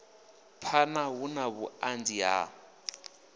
phana hu na vhuanzi ha